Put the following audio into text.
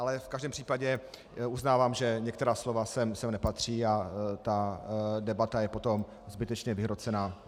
Ale v každém případě uznávám, že některá slova sem nepatří a ta debata je potom zbytečně vyhrocená.